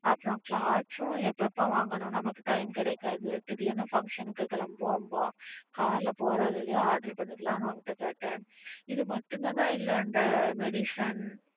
அப்புறம் clothes ம் எப்ப எப்ப வாங்கணும் நமக்கு time கிடைக்காது. திடீர்னு function க்கு கிளம்புவோம்ன்போம் car போற வழியலையே order பண்ணிக்கலாம்ன்னு உன்ட்ட கேட்டேன். இது மட்டும் தானா? இல்ல அந்த medicine.